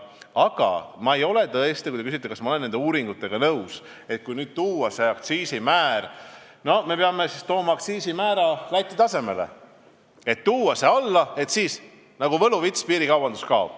Aga kui te küsite, kas ma olen nõus nende uuringutega, mis ütlevad, et kui me toome aktsiisimäära Läti määra tasemele, siis nagu võluvitsa abil piirikaubandus kaob, siis ma ei ole sellega nõus.